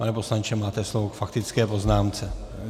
Pane poslanče, máte slovo k faktické poznámce.